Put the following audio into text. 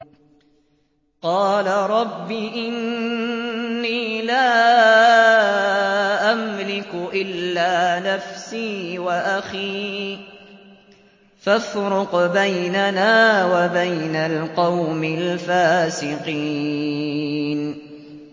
قَالَ رَبِّ إِنِّي لَا أَمْلِكُ إِلَّا نَفْسِي وَأَخِي ۖ فَافْرُقْ بَيْنَنَا وَبَيْنَ الْقَوْمِ الْفَاسِقِينَ